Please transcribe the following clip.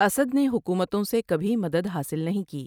اسد نے حکومتوں سے کبھی مدد حاصل نہیں کی ۔